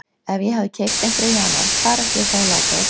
Ef ég hefði keypt einhverja í janúar hvar ætti ég þá að láta þá spila?